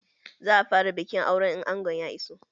Za a fara bikin auren in angon ya iso